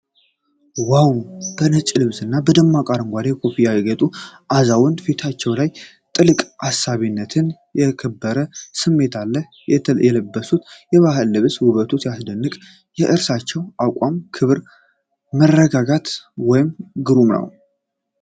ዋው! በነጭ ልብስና በደማቅ አረንጓዴ ኮፍያ ያጌጡ አዛውንት። ፊታቸው ላይ ጥልቅ አሳቢነትና የከበረ ስሜት አለ። የለበሱት የባህል ልብስ ውበቱ ሲያስደንቅ! የእርሳቸው አቋም ክብርና መረጋጋት ወይ ግሩም!!።